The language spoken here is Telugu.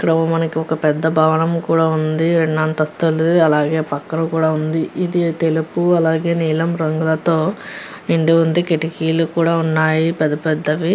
ఇక్కడ ఓ మనకి ఒక పెద్ద భవనం కూడా ఉంది రెండంతస్తుంది అలాగే పక్కన కూడా ఉంది. ఇది తెలుపు అలాగే నీలం రంగులతో నిండి ఉంది కిటికీలు కూడా ఉన్నాయి పెద్ద పెద్దవి.